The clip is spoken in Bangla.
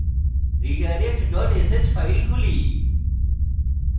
redirect dot sh file খুলি